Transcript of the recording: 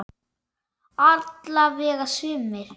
Alla vega sumir.